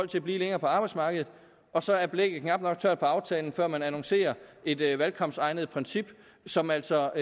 til at blive længere på arbejdsmarkedet og så er blækket knap nok tørt på aftalen før man annoncerer et et valgkampsegnet princip som altså